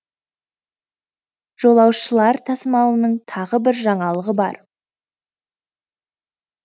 жолаушылар тасымалының тағы бір жаңалығы бар